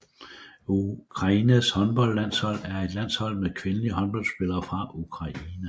Ukraines håndboldlandshold er et landshold med kvindelige håndboldspillere fra Ukraine